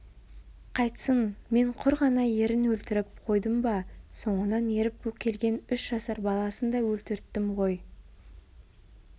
қайтсын мен құр ғана ерін өлтіріп қойдым ба соңынан еріп келген үш жасар баласын да өлтірттім ғой